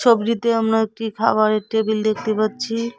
ছবিটিতে আমরা একটি খাওয়ারের টেবিল দেখতে পাচ্ছি।